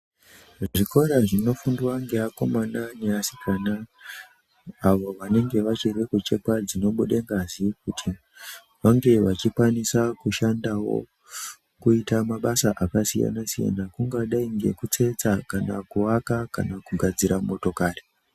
Zviro zvinofundwa ngeakomana neasikana avo vanonge vachiri kuchekwa dzinobude ngazi kuti vange vechikwanisa kushandawo kuita mabasa akasiyanasiyana kungadai ngekutsetsa kana kuaka kana kugadzira motokari.